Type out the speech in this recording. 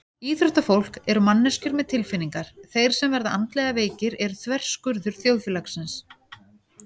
Íþróttafólk eru manneskjur með tilfinningar Þeir sem verða andlega veikir eru þverskurður þjóðfélagsins.